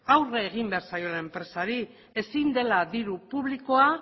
aurre egin behar zaiola enpresari ezin dela diru publikoa